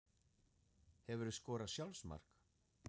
Hefurðu skorað sjálfsmark?